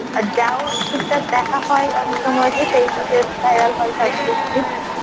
আর যাও টুকটাক দেখা হয় অনেক সময় যে Facebook এ viral হয় short click